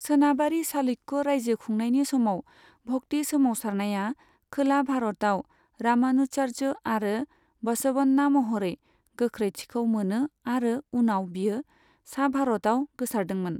सोनाबारि चालुक्य रायजो खुंनायनि समाव भक्ति सोमावसारनाया खोला भारतआव रामानुजाचार्य आरो बसवन्ना महरै गोख्रैथिखौ मोनो आरो उनाव बेयो सा भारतआव गोसारदोंमोन।